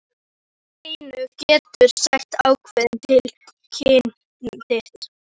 Hann einn getur sagt ákveðið til um kyn þitt.